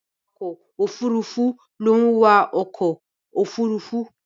Awakọ̀ Òfurufú ló ń wa ọkọ òfurufú.